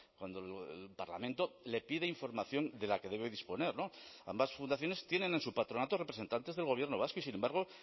cuando el parlamento le pide información de la que debe disponer ambas fundaciones tienen en su patronato representantes del gobierno vasco y sin embargo